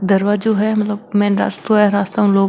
दरवाजो है मतलब मेन रास्तो है रास्ता में लोग --